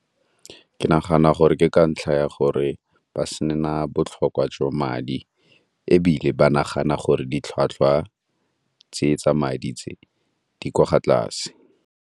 Ke nagana gore ke ka ntlha ya gore ba se na botlhokwa jwa madi ebile ba nagana gore di tlhwatlhwa tse tsa madi tse di kwa tlase.